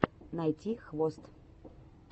найти хвост